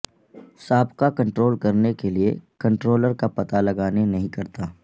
سابقہ کنٹرول کرنے کے کنٹرولر کا پتہ لگانے نہیں کرتا